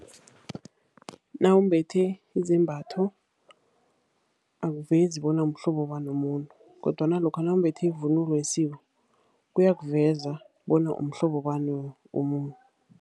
Nawumbethe izembatho awuvezi bona umhlobo bani womuntu kodwana lokha nawumbethe ivunulo yesiko, kuyakuveza bona umhlobo bani womuntu.